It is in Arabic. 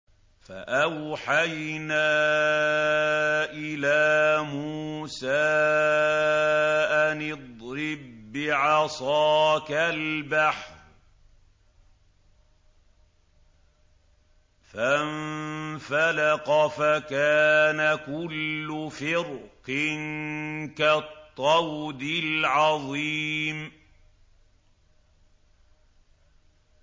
فَأَوْحَيْنَا إِلَىٰ مُوسَىٰ أَنِ اضْرِب بِّعَصَاكَ الْبَحْرَ ۖ فَانفَلَقَ فَكَانَ كُلُّ فِرْقٍ كَالطَّوْدِ الْعَظِيمِ